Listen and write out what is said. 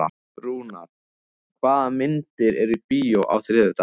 Rúnar, hvaða myndir eru í bíó á þriðjudaginn?